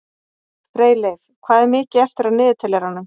Freyleif, hvað er mikið eftir af niðurteljaranum?